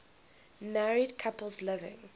married couples living